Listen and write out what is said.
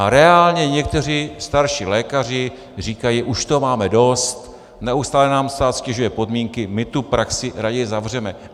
A reálně někteří starší lékaři říkají: už toho máme dost, neustále nám stát ztěžuje podmínky, my tu praxi raději zavřeme.